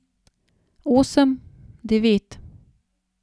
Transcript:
Osem, devet.